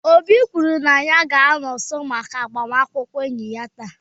Obi kwuru na ya ga-anọ nso maka agbamakwụkwọ enyi ya taa